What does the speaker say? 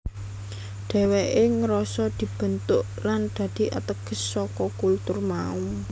Dheweke ngrasa dibentuk lan dadi ateges saka kultur mau